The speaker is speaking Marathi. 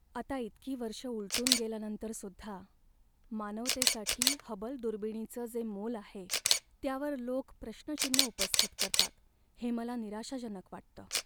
आता इतकी वर्ष उलटून गेल्यानंतरसुद्धा, मानवतेसाठी हबल दुर्बिणीचं जे मोल आहे त्यावर लोक प्रश्नचिन्ह उपस्थित करतात हे मला निराशाजनक वाटतं.